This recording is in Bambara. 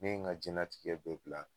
Ne ye n ka jɛnnɛtigɛ bɛɛ bila